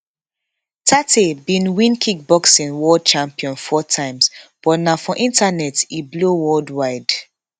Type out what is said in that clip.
tate bin win kickboxing world champion four times but na for internet e blow worldwide